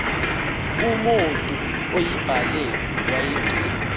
umotu uyibhale wayigqiba